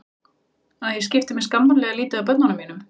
Að ég skipti mér skammarlega lítið af börnum mínum.